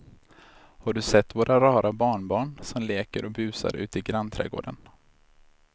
Har du sett våra rara barnbarn som leker och busar ute i grannträdgården!